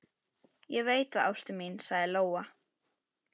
Ég veit það, ástin mín, sagði Lóa.